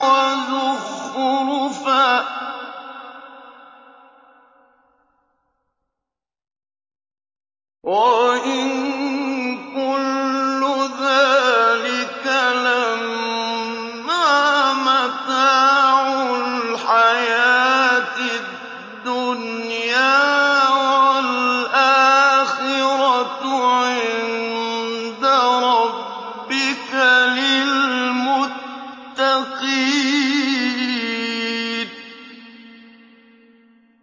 وَزُخْرُفًا ۚ وَإِن كُلُّ ذَٰلِكَ لَمَّا مَتَاعُ الْحَيَاةِ الدُّنْيَا ۚ وَالْآخِرَةُ عِندَ رَبِّكَ لِلْمُتَّقِينَ